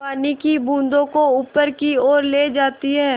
पानी की बूँदों को ऊपर की ओर ले जाती है